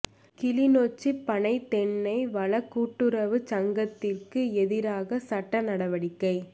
கிளிநொச்சி பனை தென்னை வள கூட்டுறவுச் சங்கத்திற்கு எதிராக சட்ட நடவடிக்கை